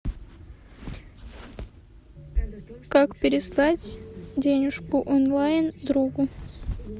как переслать денежку онлайн другу